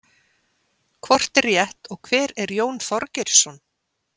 Hvort er rétt og hver er Jón Þorgeirsson?